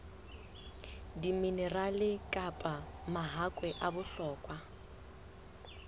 diminerale kapa mahakwe a bohlokwa